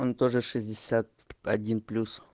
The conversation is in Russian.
он тоже шестьдесят один плюс